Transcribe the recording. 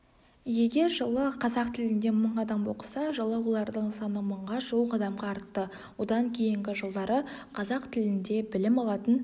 егер жылы қазақ тілінде мың адам оқыса жылы олардың саны мыңға жуық адамға артты одан кейінгі жылдары қазақ тілінде білім алатын